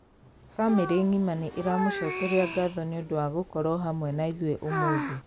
Famĩrĩ ngima nĩ iramũcokeria ngatho nĩũndũ wa gũkorũo hamwe na ithuĩ ũmũthĩ.